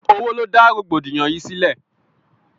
Owó ló dá rọ̀gbọ̀dìyàn yìí sílẹ̀.